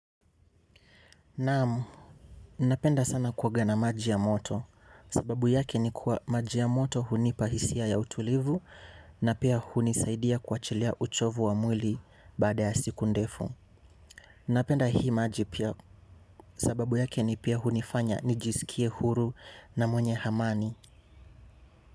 Naamu, ninapenda sana kuoga na maji ya moto, sababu yake ni kuwa maji ya moto hunipa hisia ya utulivu na pia hunisaidia kuachilia uchovu wa mwili baada ya siku ndefu. Napenda hii maji pia, sababu yake ni pia hunifanya nijisikie huru na mwenye amani.